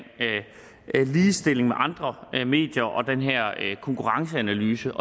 ligestilling med andre medier og den her konkurrenceanalyse